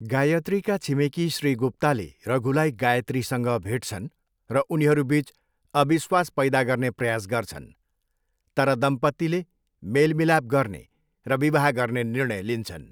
गायत्रीका छिमेकी श्री गुप्ताले रघुलाई गायत्रीसँग भेट्छन् र उनीहरू बिच अविश्वास पैदा गर्ने प्रयास गर्छन्, तर दम्पतीले मेलमिलाप गर्ने र विवाह गर्ने निर्णय लिन्छन्।